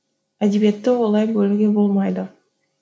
әдебиетті олай бөлуге болмайды